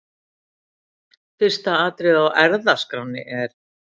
Fyrsta atriðið á ERFÐASKRÁNNI er.